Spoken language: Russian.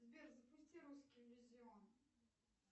сбер запусти русский дивизион